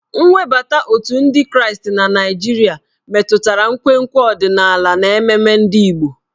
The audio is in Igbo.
Nwebata otù ndị Kraịst na Naịjirịa metụtara nkwenkwe ọdịnala na mmemme ndị Igbo.